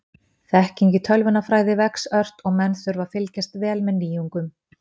Þekking í tölvunarfræði vex ört og menn þurfa að fylgjast vel með nýjungum.